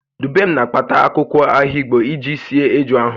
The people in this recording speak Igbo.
Dubem na-akpata akwụkwọ ahigbo iji sie eju ahụ